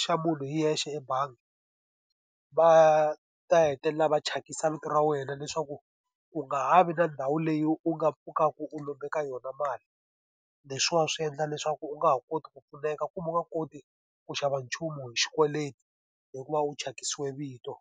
xa munhu hi yexe ebangi, va ta hetelela va thyakisa vito ra wena leswaku u nga ha vi na ndhawu leyi u nga pfukaka u lombe ka yona mali. Leswiwani swi endla leswaku u nga ha koti ku pfuneka kumbe u nga koti ku xava nchumu hi xikweleti, hikuva u thyakisiwe vito.